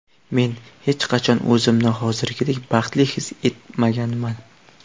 Men hech qachon o‘zimni hozirgidek baxtli his etmaganman.